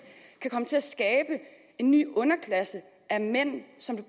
kan komme til at skabe en ny underklasse af mænd som